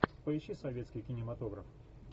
поищи советский кинематограф